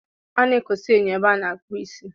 A na-ekosa enyo ebe a na-akpụ isi.